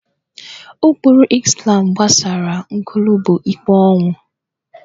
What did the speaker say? Ụkpụrụ Izlam gbasara nkwulu bụ ikpe ọnwụ